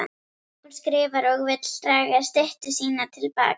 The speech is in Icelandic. Hún skrifar og vill draga styttu sína til baka.